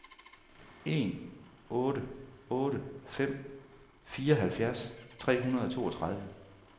en otte otte fem fireoghalvfjerds tre hundrede og toogtredive